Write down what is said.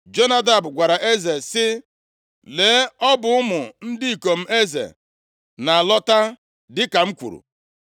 Jonadab gwara eze sị, “Lee, ọ bụ ụmụ ndị ikom eze na-alọta dịka m kwuru.”